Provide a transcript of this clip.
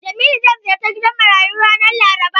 Jamilu zai ziyarci gidan marayu ranar Laraba.